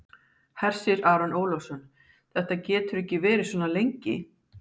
Hersir Aron Ólafsson: Þetta getur ekki verið svona lengi?